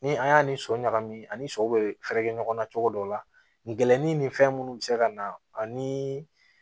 Ni an y'a ni so ɲagami ani so bɛ fɛɛrɛ kɛ ɲɔgɔn na cogo dɔ la gɛnni ni fɛn minnu bɛ se ka na ani